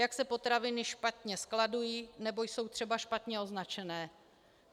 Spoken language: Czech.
Jak se potraviny špatně skladují, nebo jsou třeba špatně označené.